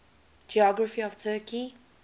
geography of turkey